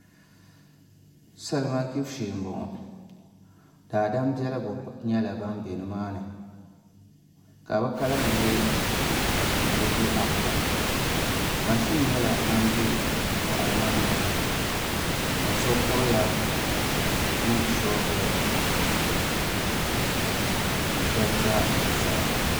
Salima gbibu shee n boŋo Daadam biɛligu nyɛla ban bɛ nimaani ka bi kalinli nyɛ niraba apoin mashin nyɛla ŋan bɛ boɣali maa ni ka so kuriya ni shoovuli ka shab ʒɛ zuɣusaa